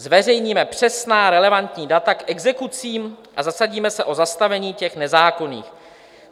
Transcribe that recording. Zveřejníme přesná relevantní data k exekucím a zasadíme se o zastavení těch nezákonných.